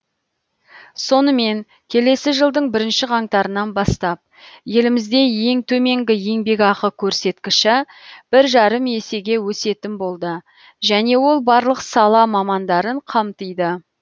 сонымен келесі жылдың бірінші қаңтарынан бастап елімізде ең төменгі еңбекақы көрсеткіші бір жарым есеге өсетін болды және ол барлық сала мамандарын қамтиды